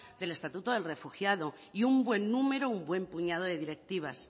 del estatuto al refugiado y un buen número y buen puñado de directivas